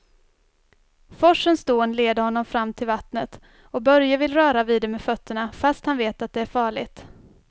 Forsens dån leder honom fram till vattnet och Börje vill röra vid det med fötterna, fast han vet att det är farligt.